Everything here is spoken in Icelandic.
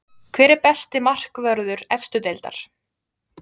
Hver er besti markvörður efstu deildar?